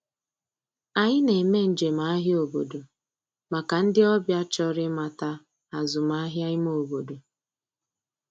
Anyị na-eme njem ahịa obodo maka ndị ọbịa chọrọ ịmata azụmahịa ime obodo.